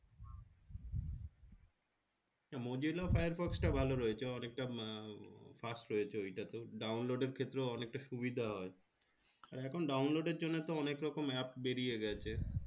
mozilla firefox টা ভালো রয়েছে অনেকটা fast হয়েছে ঐটাতেও download এর ক্ষেত্রেও অনেকটা সুবিধা হয় আর এখন download এর জন্যেতো অনেকরকম app বেরিয়েগেছে